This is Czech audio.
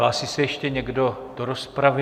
Hlásí se ještě někdo do rozpravy?